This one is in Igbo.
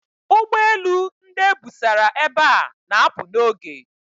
Ụgbọ elu ndị e busara ebe a na-apụ n'oge.